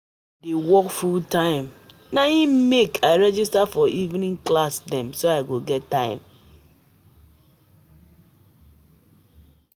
I dey work full-time na im um make I register for evening class dem.